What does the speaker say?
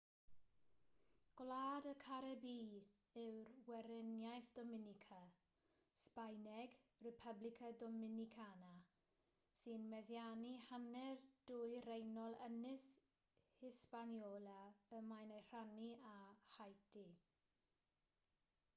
gwlad y caribî yw'r weriniaeth dominica sbaeneg: república dominicana sy'n meddiannu hanner dwyreiniol ynys hispaniola y mae'n ei rhannu â haiti